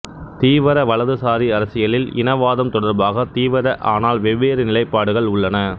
தீவர வலதுசாரி அரசியலில் இனவாதம் தொடர்பாக தீவர ஆனால் வெவ்வேறு நிலைப்பாடுகள் உள்ளன